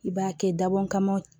I b'a kɛ dabɔ kama